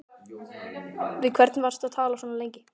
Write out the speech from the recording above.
Við hvern varstu að tala svona lengi?